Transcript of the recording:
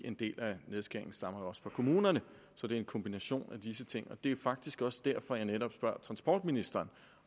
en del af nedskæringen stammer jo også fra kommunerne så det er en kombination af disse ting det er faktisk også derfor at jeg netop spørger transportministeren